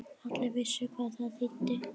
Allir vissu hvað það þýddi.